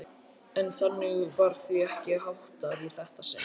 En þannig var því ekki háttað í þetta sinn.